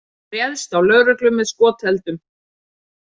Réðst á lögreglu með skoteldum